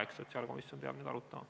Eks sotsiaalkomisjon peab nüüd arutama.